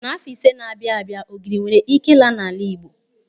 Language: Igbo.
N'àfọ́ iri ise na-abịa abịa ogiri nwere ị́ké ịla n'ala Igbo.